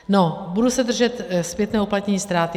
No, budu se držet zpětného uplatnění ztráty.